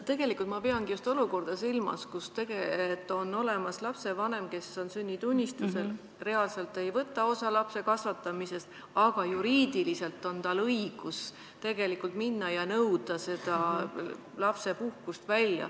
Tegelikult ma peangi silmas just olukorda, kus lapsevanem, kes on sünnitunnistusel kirjas, reaalselt ei võta osa lapse kasvatamisest, aga juriidiliselt on tal õigus minna ja nõuda seda lapsepuhkust.